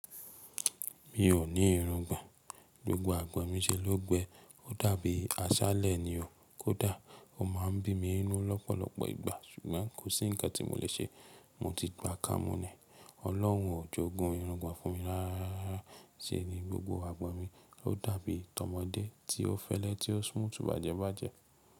Mi ò ní irungbọ̀n, gbogbo agbọ̀n mi ṣe ló gbẹ, ó dàbí aṣálẹ̀ ni o. Kódà ó má a ń bí mi n nú lọ́pọ̀lọpọ̀ ìgbà ṣùgbọ́n kò sí nǹkan tí mo lè ṣe. Mo ti gbà kámú ni. Ọlọ́run ò jogun irungbọ̀n fún mi rárá. Ṣé ni gbogbo agbọ̀n mi ó dàbí tọmọdé tí ó fẹ́lẹ́ tí ó smooth bàjẹ́ bàjẹ́